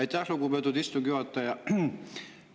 Aitäh, lugupeetud istungi juhataja!